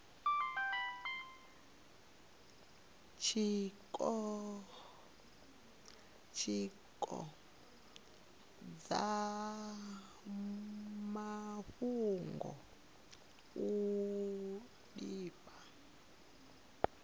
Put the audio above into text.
tshiko tsha mafhungo uri izwi